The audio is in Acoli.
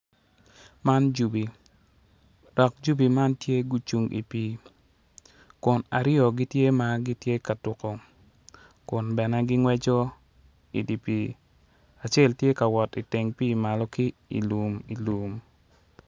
Man jubi dok jubi man tye gucung i pii kun aryo tye ma gitye ka tuko kun bene gingweco i dye pii acel tye ka wot i teng pii manlo ki ilumlum.